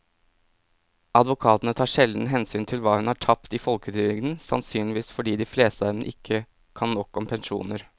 Advokatene tar sjelden hensyn til hva hun har tapt i folketrygden, sannsynligvis fordi de fleste av dem ikke kan nok om pensjoner.